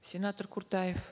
сенатор куртаев